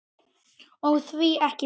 Og því ekki það?